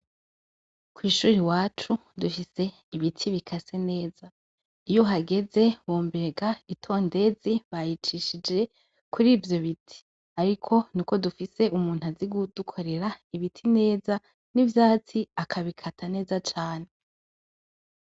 kw'ishuri iwacu dufise ibiti bikase neza iyo hageze womenga itondezi bayicishije kuri ivyo biti ariko ni uko dufise umuntu azi gudukorera ibiti neza n'ivyatsi akabikata neza cane.